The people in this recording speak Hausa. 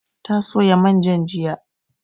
Ta soya manjan jiya